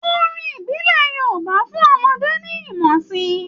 Orin ìbílẹ̀ Yorúbà ń fún ọmọdé ní ìmọ̀ síi.